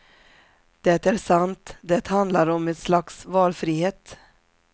Det är sant, det handlar om ett slags valfrihet.